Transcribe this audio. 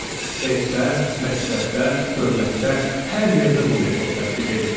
Evdə, məktəbdə, dövlətdə, hər yerdə bu metod tətbiq edilirdi.